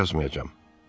Daha yazmayacam.